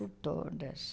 Por todas.